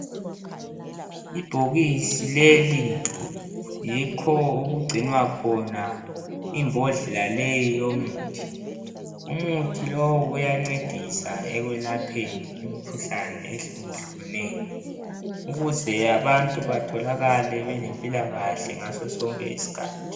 Ibhokisi leli yikho okugcinwa khona imbodlela leyi yomuthi. Umuthi lowu uyancedisa ekwelapheni umkhuhlane ehlukahlukeneyo ukuze abantu batholakale belempilakahle ngasosonke isikhathi.